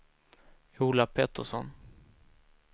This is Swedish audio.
Ola Pettersson